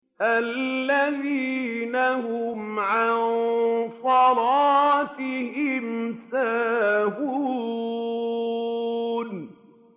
الَّذِينَ هُمْ عَن صَلَاتِهِمْ سَاهُونَ